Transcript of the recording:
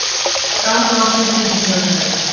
Ganga á fund ríkisstjórnarinnar